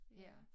Ja